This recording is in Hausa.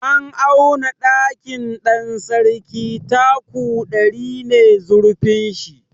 An auna ɗakin Ɗansarki taku ɗari ne zurfin shi.